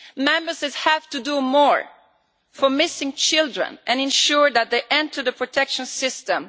Members have to do more for missing children and ensure that they enter the protection system.